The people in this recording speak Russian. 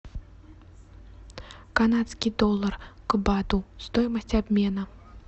канадский доллар к бату стоимость обмена